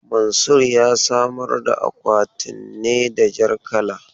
Mansur ya samar da akwatin ne da jar kala.